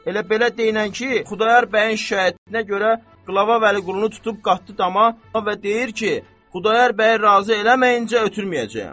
Elə belə deyinən ki, Xudayar bəyin şikayətinə görə qılava Vəliqulunu tutub qatdı dama və deyər ki, Xudayar bəyi razı eləməyincə ötürməyəcəyəm.